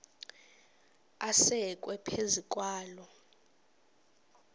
asekwe phezu kwaloo